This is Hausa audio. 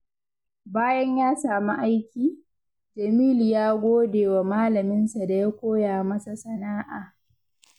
Bayan ya samu aiki, Jamilu ya gode wa Malaminsa da ya koya masa sana’a.